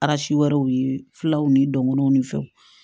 wɛrɛw ye filaw ni dɔngɔw ni fɛnw